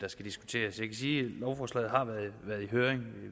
lovforslaget har været i høring